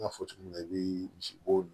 N y'a fɔ cogo min na i bi misibo